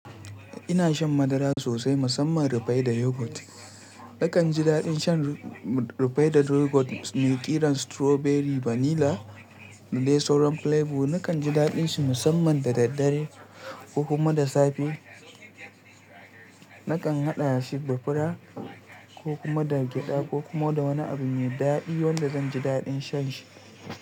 Ina shan madara sosai musamman rufaida yogurt. Nakan ji daɗin shan rufaida yogurt mai ƙiran strawberry vanilla da dai sauran flavor. Nakan ji daɗin shi musamman da daddare ko kuma da safe. Nakan haɗa shi da fura ko kuma da gyada ko kuma da wani abu mai daɗi wanda zan ji daɗin shan shi.